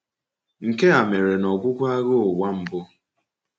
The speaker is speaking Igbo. Nke a mere n’ọgwụgwụ Agha Ụwa Mbụ.